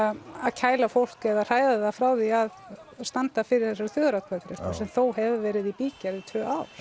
kæla fólk eða hræða það frá því að standa fyrir þessari þjóðaratkvæðagreiðslu sem þó hefur verið í bígerð í tvö ár